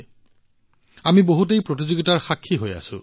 আমি সকলোৱে বহুতো প্ৰতিযোগিতাত ইয়াৰ সাক্ষী হৈছো